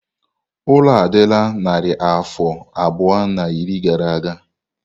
Ụlọ a adịla narị afọ abụọ na iri gara aga.